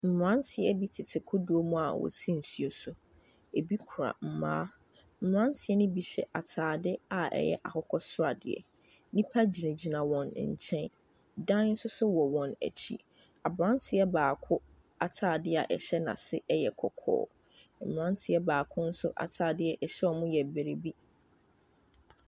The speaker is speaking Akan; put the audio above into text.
Mmranteɛ bi tete kodoɔ mu a a wosi nsuo so. Ebi kura mmaa. Mmranteɛ no bi hyɛ ataade a ɛyɛ akokɔsradeɛ. Nnipa gyinagyina wɔn nkyɛn. Dan nso wɔ wɔn akyi. Abranteɛ baako ataadeɛ a ɛhyɛ no ase yɛ kɔkɔɔ. Mmranteɛ baako nso ataadeɛ ɔhyɛ wɔn no yɛ biribi.